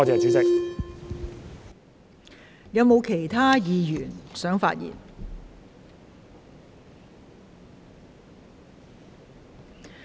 是否有其他議員想發言？